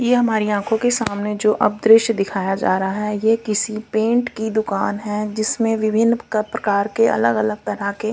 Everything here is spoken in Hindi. ये हमारी आंखों के सामने जो अब दृश्य दिखाया जा रहा है ये किसी पेंट की दुकान है जिसमें विभिन्न क-प्रकार के अलग-अलग तरह के--